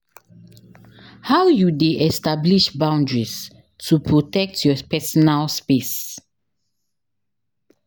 How you dey establish boundaries to protect your personal space?